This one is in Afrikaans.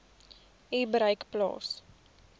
u bereik plaas